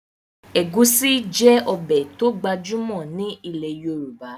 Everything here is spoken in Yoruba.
Ẹ̀gúsí jẹ́ ọbẹ̀ tó gbajúmọ̀ ní ilẹ̀ Yorùbá